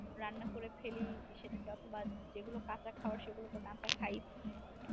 রান্না করে ফেলি, সেটা বাদ যেগুলো কাঁচা খাওয়ার সেগুলো তো কাঁচা খাই